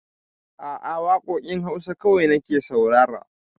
A'a, waƙoƙin Hausa kawai nake saurara